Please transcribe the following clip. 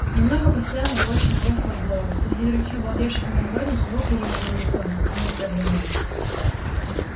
немного постоял на площади трёх вокзалов среди других обалдевших иногородних его приезжего из зоны тут было не так заметно